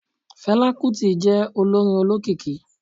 fela kuti je olorín ólọkíkí